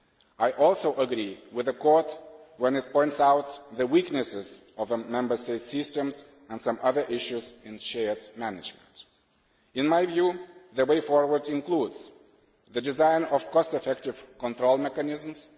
I also agree with the Court when it points out the weaknesses of the Member States' systems and some other issues in shared management. In my view, the way forward includes the design of cost effective control mechanisms